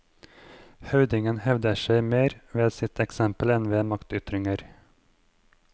Høvdingen hevder seg mer med ved sitt eksempel enn ved maktytringer.